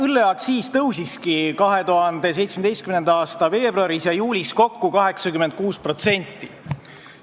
Õlleaktsiis tõusiski 2017. aasta veebruaris ja juulis kokku 86%.